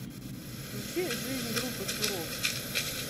включи жизнь группы суров